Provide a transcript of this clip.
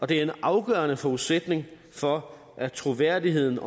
det er en afgørende forudsætning for at troværdigheden